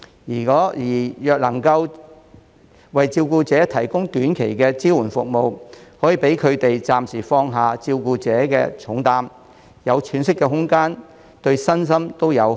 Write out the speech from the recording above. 若能為照顧者提供短期的支援服務，可讓他們暫時放下照顧者的重擔，有喘息的空間，對身心都有好處。